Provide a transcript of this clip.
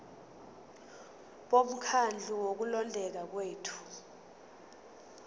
bomkhandlu wokulondeka kwethu